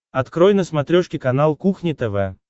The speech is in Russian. открой на смотрешке канал кухня тв